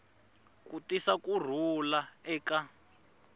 ku tisa ku rhula eka